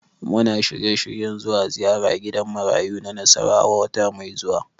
Muna shirye-shiryen zuwa ziyara gidan marayu na Nasarawa wata mai zuwa.